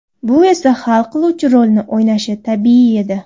Bu esa hal qiluvchi rolni o‘ynashi tabiiy edi.